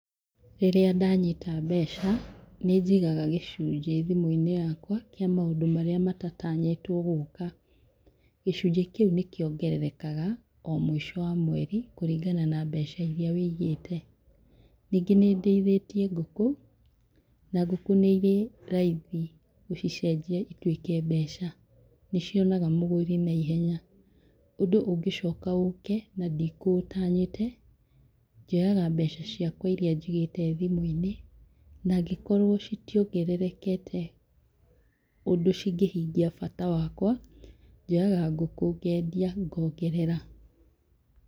Rĩrĩa ndanyita mbeca, nĩ njigaga gĩcunjĩ thimũ-inĩ yakwa kĩa maũndũ marĩa matatanyĩtwo gũka. Gĩcunjĩ kĩu nĩ kiongererekaga o mũico wa mweri kũringana na mbeca iria ũigĩte. Ningĩ nĩ ndĩithĩtie ngũkũ, na ngũkũ nĩ irĩ raithi gũcicenjia ituĩke mbeca, nĩ cionaga mũgũri naihenya, ũndũ ũngĩcoka ũke na ndikũũtanyĩte, njoyaga mbeca ciakwa iria njigĩte thimũ-inĩ, na angĩkorwo citiongererekete ũndũ cingĩhingia bata wakwa, njoyaga ngũkũ ngendia ngongerera.